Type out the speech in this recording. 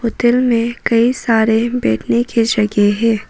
Hotel में कई सारे बैठने की जगह है।